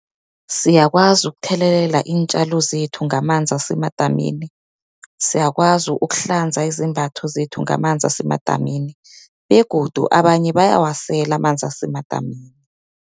Siyakwazi ukuthelelela iintjalo zethu ngamanzi asemadamini, siyakwazi ukuhlanza izembatho zethu ngamanzi asemadamini, begodu abanye bayawasela amanzi asemadamini.